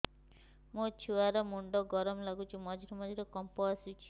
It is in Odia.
ମୋ ଛୁଆ ର ମୁଣ୍ଡ ଗରମ ଲାଗୁଚି ମଝିରେ ମଝିରେ କମ୍ପ ଆସୁଛି